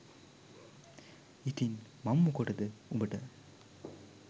ඉතිං මං මොකටද උඹට